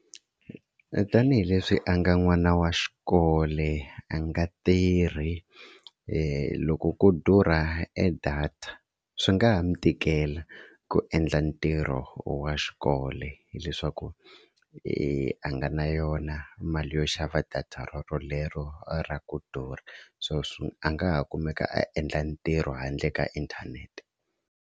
Tanihileswi a nga n'wana wa xikolo a nga tirhi loko ko durha e data swi nga ha mi tikela ku endla ntirho wa xikolo hileswaku i a nga na yona mali yo xava data rorolero ra ku durha so swi a nga ha kumeka a endla ntirho handle ka inthanete.